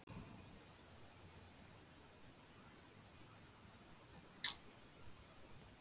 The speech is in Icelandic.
Guðný: Er þetta ekki pjatt í okkur að borða þetta ekki?